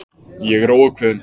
Ég er óákveðin.